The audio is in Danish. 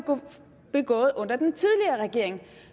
begået under den tidligere regering